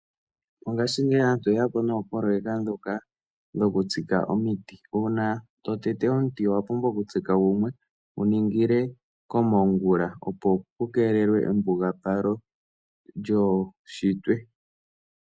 Mongaashingeyi aantu oye ya po noopoloyeka ndhoka dhoku tsika omiti. Uuna to tete omuti owa pumbwa oku tsika gumwe wu ningile komongula opo pu keelelwe embugapalo lyuunshitwe.